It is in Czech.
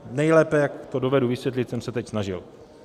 Nejlépe, jak to dovedu vysvětlit, jsem se teď snažil.